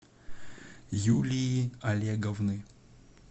юлии олеговны